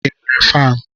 ị nwere faanụ?